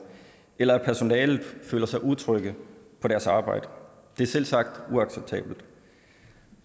eller at personalet føler sig utrygge på deres arbejde det er selvsagt uacceptabelt